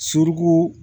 Suruku